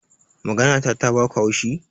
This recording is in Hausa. Maganata ta baku haushi?